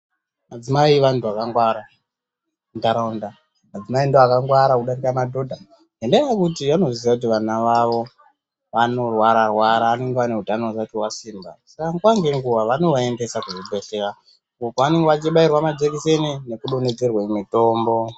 Madzimai vantu vakangwara muntaraunda. Madzimai ndiwo akangwara kudarika madhodha, ngendaa yekuti vanoziva kuti vana vavo vanorwara -rwara, vanenge vane hutano hwakapera simba. Saka nguva nenguva vanovaendesa kuzvibhedhlera, uko vanenge vachibairwa majikiseni nekudonhedzerwe mutombo.